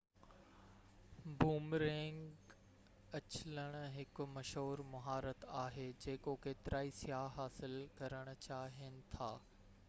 boomerang اڇلڻ هڪ مشهور مهارت آهي جيڪو ڪيترائي سياح حاصل ڪرڻ چاهين ٿا